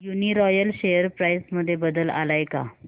Uniroyal share price मध्ये बदल आलाय का